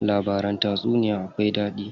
Labaran tatsuniya akwai daɗi.